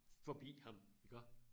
Forbi ham iggå